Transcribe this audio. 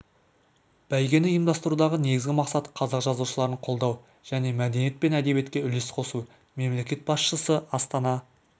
бәйгені ұйымдастырудағы негізгі мақсат қазақ жазушыларын қолдау және мәдениет пен әдебиетке үлес қосу мемлекет басшысы астана